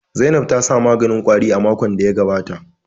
Zainab ta sa maganin ƙwari makon da ya gabata